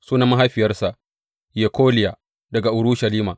Sunan mahaifiyarsa Yekoliya daga Urushalima.